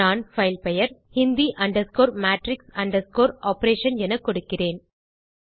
நான் பைல் பெயர் hindi matrix operation எனக் கொடுக்கிறேன்